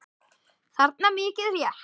þarna, mikið rétt.